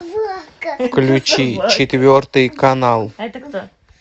включи четвертый канал